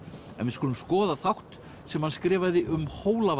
en við skulum skoða þátt sem hann skrifaði um